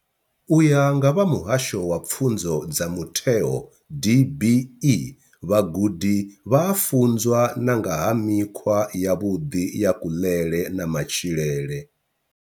U ya nga vha Muhasho wa Pfunzo dza Mutheo DBE, vhagudi vha a funzwa na nga ha mikhwa yavhuḓi ya kuḽele na matshilele.